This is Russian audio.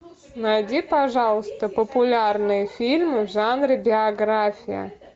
найди пожалуйста популярные фильмы в жанре биография